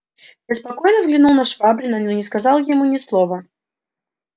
я спокойно взглянул на швабрина но не сказал ему ни слова